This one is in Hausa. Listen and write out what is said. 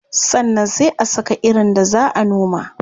Sannan sai a saka irin da zaa a noma.